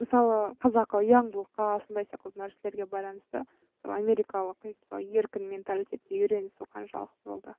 мысалы қазақы ұяңдылыққа сондай сияқты нәрселерге байланысты америкалық еркін менталитетке үйренісу қаншалықты болды